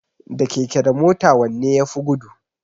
Da keke da mota wanne yafi gudu?